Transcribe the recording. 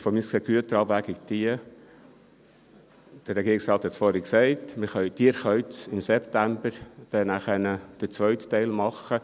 Aus meiner Sicht ist jetzt die Güterabwägung die, der Regierungsrat hat es vorhin gesagt: können dann im September den zweiten Teil machen.